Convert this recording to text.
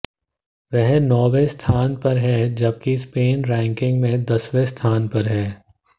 वह नौवें स्थान पर है जबकि स्पेन रैंकिंग में दसवें स्थान पर है